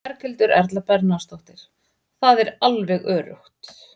Berghildur Erla Bernharðsdóttir: Það er alveg öruggt?